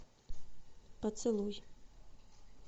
поцелуй